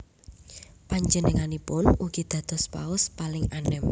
Panjenenganipun ugi dados Paus paling anem